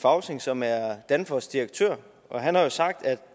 fausing som er danfoss direktør han har sagt at